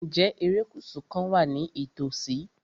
Ǹjẹ́ erékùṣù kan wà ní ìtòsí?